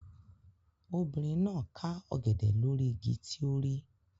Obìnrin náà ká ọ̀gẹ̀dẹ̀ lórí igi ọ̀gẹ̀dẹ̀ tí ó rí.